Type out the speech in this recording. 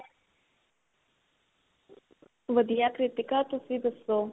ਵਧੀਆ ਕ੍ਰਿਤੀਕਾ ਤੁਸੀਂ ਦੱਸੋ